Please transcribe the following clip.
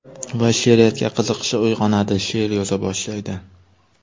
Va she’riyatga qiziqishi uyg‘onadi – she’r yoza boshlaydi.